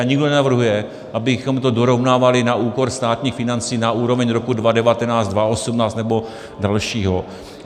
A nikdo nenavrhuje, abychom to dorovnávali na úkor státních financí, na úroveň roku 2019, 2018 nebo dalšího.